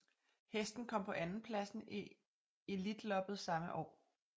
Hesten kom på andenpladsen i Elitloppet samme år